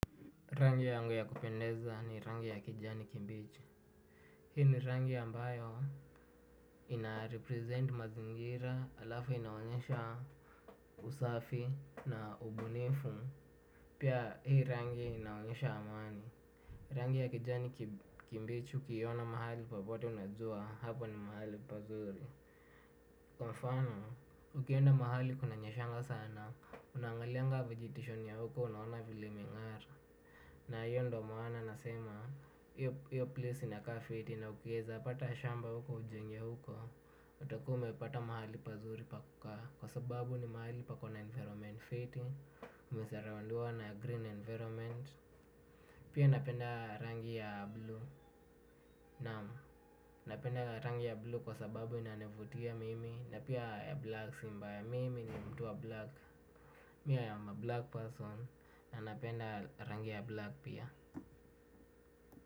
Rangi yangu ya kupendeza ni rangi ya kijani kibichi. Hii ni rangi ambayo ina represent mazingira alafu inaonyesha usafi na ubunifu. Pia hii rangi inaonyesha amani. Rangi ya kijani kibichi ukiiona mahali popote unajua hapo ni mahali pazuri. Kwa mfano, ukienda mahali kunanyeshanga sana, unaangalianga vegetation ya huko unaona vile imeng'ara. Na hiyo ndo maana nasema, hiyo place inakaa fiti na ukieza pata shamba huko ujenge huko. Utakuwa umepata mahali pazuri pa kukaa kwa sababu ni mahali pako na environment fiti umesurroundiwa na green environment. Pia napenda rangi ya blue, naam, napenda rangi ya blue kwa sababu inanivutia mimi. Na pia ya black si mbaya mimi ni mtu wa black Me I am a black person na napenda rangi ya black pia.